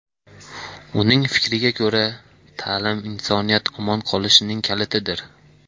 Uning fikriga ko‘ra, ta’lim insoniyat omon qolishining kalitidir.